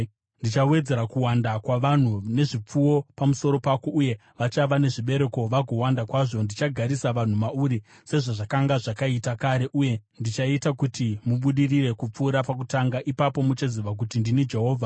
Ndichawedzera kuwanda kwavanhu nezvipfuwo pamusoro pako uye vachava nezvibereko vagowanda kwazvo. Ndichagarisa vanhu mauri sezvazvakanga zvakaita kare uye ndichaita kuti mubudirire kupfuura pakutanga. Ipapo muchaziva kuti ndini Jehovha.